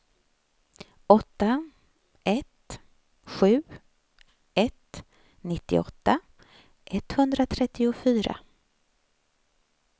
åtta ett sju ett nittioåtta etthundratrettiofyra